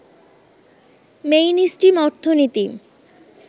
mainstream অর্থনীতি